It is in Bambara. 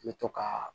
I bɛ to ka